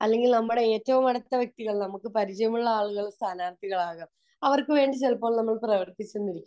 അല്ലെങ്കിൽ നമുക്ക് ഏറ്റവും അടുത്ത വ്യക്തികൾ അല്ലെങ്കിൽ നമ്മക് പരിചയമുള്ള ആളുകൾ സ്ഥാനാര്ഥികളാവാം . അവർക്കു വേണ്ടി നമ്മൾ ചിലപ്പോൾ പ്രവർത്തിച്ചെന്നിരിക്കും